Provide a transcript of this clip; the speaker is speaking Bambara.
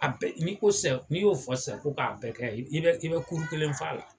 A bɛɛ n'i ko sisan n'i y'o fɔ sisan ko k'a bɛɛ kɛ i bɛ i bɛ kuru kelen f'a la.